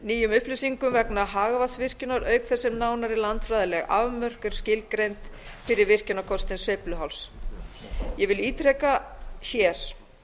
nýjum upplýsingum vegna hagvatnsvirkjunar auk þess sem nánari landfræðileg afmörkun er skilgreind fyrir virkjunarkosti sveifluháls ég vil ítreka hér